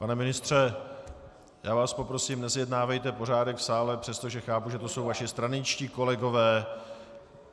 Pane ministře, já vás poprosím, nezjednávejte pořádek v sále, přestože chápu, že to jsou vaši straničtí kolegové.